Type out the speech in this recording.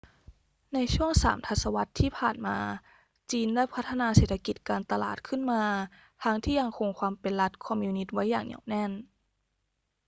ในช่วงสามทศวรรษที่ผ่านมา จีนได้พัฒนาเศรษฐกิจการตลาดขึ้นมา ทั้งที่ยังคงความเป็นรัฐคอมมิวนิสต์ไว้อย่างเหนียวแน่น